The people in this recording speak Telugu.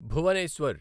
భువనేశ్వర్